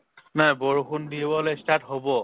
নাই বৰষুণ দিবলৈ start হʼব।